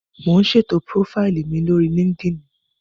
Mò ún ṣètò púrófáìlì mi lórí líkídíìnì